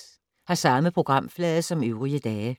Samme programflade som øvrige dage